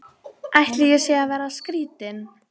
Ég veit að hann hverfur ekki.